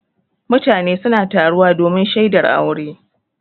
Mutane suna taruwa domin shaidar aure.